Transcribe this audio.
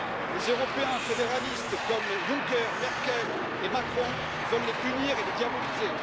Les Européens fédéralistes comme Juncker, Merkel et Macron veulent les punir et les diaboliser.